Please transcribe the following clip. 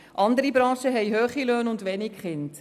Andere Branchen haben hohe Löhne und wenig Kinder.